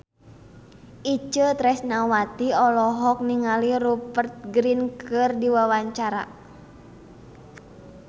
Itje Tresnawati olohok ningali Rupert Grin keur diwawancara